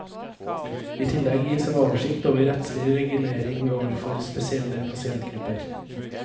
I tillegg gis en oversikt over rettslig regulering overfor spesielle pasientgrupper.